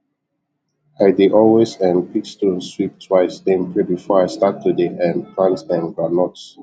i dey always um pick stones sweep twice then pray before i start to dey um plant um groundnuts